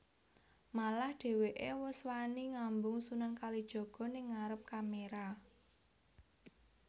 Malah dheweké wus wani ngambung Sunan Kalijaga ning ngarep kamera